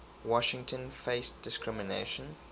washington faced discrimination